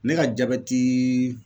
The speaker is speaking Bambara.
Ne ka jabɛtii